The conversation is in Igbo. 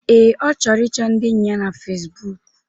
Ee, Ọ chọrọ ịchọ ndi enyi ya na Fesbụụk